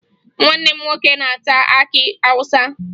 Nwanne m nwoke na-ata akị Awụsa